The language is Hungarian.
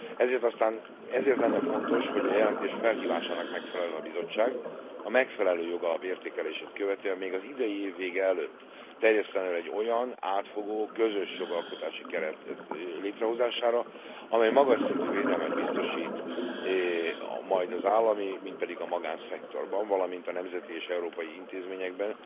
Ezért lenne fontos, hogy a jelentés felhívásának megfeleljen a Bizottság, a megfelelő jogalap értékelését követően, még az idei év vége előtt terjesszen elő egy olyan átfogó, közös jogalkotási keret létrehozására, amely magas szintű védelmet biztosít majd az állami, mind pedig a magánszektorban, valamint a nemzeti és európai intézményekben,